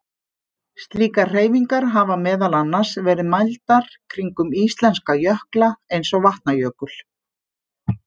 Slíkar hreyfingar hafa meðal annars verið mældar kringum íslenska jökla eins og Vatnajökul.